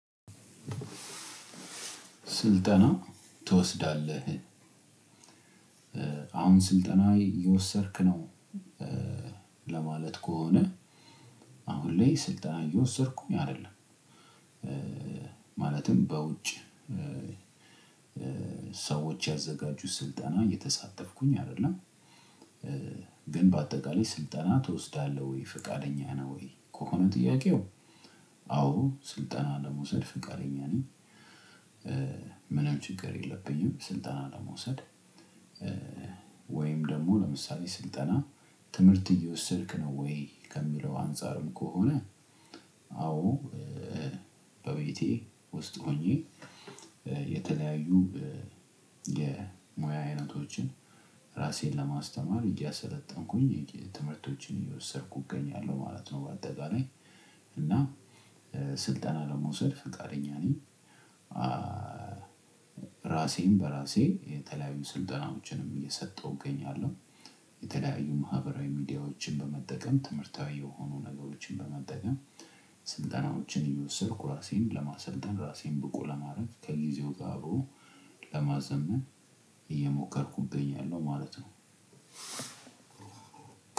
ስልጠና ትወስዳለህ? አሁን ስልጠና እየወሰድክ ነው። ለማለት ከሆነ። አሁን ላይ ስልጠና እየወሰድኩኝ አይደለም። ማለትም በውጭ ሰዎች ያዘጋጁት ስልጠና እየተሳተፍኩኝ አይደለም። ግን በአጠቃላይ ስልጠና ትወስዳለህ ወይ ፍቃደኛ ነህ ወይ ከሆነ ጥያቄው? አመስልጠና ለመውሰድ ፍቃደኛ ነኝ። ምንም ችግር የለብኝ ስልጠና ለመውሰድ። ወይም ደግሞ ለምሳሌ ስልጣና ትምህርት እየወሰድክ ነው ውይ ከሚል ከሆነ? አዎ በቤቴ ውስጥ ሆኜ የተለያዩ የሙያ አይነቶችን ራሴን ለማስተማር እያሰለጠንኩኝ ትምህርቶችን እየወሰድኩ እገኛለሁ ማለት ነው። በአጠቃላይ እና ስልጠና ለመውሰድ ፈቃደኛ ነኝ። ራሴን በራሴ የተለያዩ ስልጠናዎችንም እየሰጠሁ እገኛለሁ። የተለያዩ ማህበራዊ ሚዲያዎችን በመጠቀም ትምህርታዊ የሆኑ ነገሮችን በመጠቀም ስልጠናዎችን እየወሰድኩ ራሴን ለማሰልጠን ራሴን ብቁ ለማድረግ ከጊዜው ጋር አብሮ ለማዘመን እየሞከርኩብኝ እገኛለሁ ማለት ነው።